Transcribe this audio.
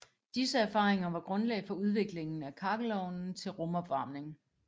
Disse erfaringer var grundlag for udviklingen af kakkelovnen til rumopvarmning